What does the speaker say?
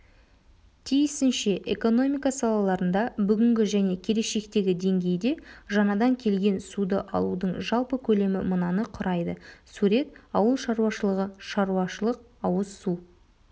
тиісінше экономика салаларында бүгінгі және келешектегі деңгейде жаңадан келген суды алудың жалпы көлемі мынаны құрайды сурет ауылшаруашылығы шаруашылық-ауызсу